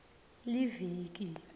liviki